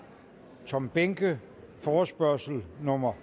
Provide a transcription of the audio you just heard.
og tom behnke forespørgsel nummer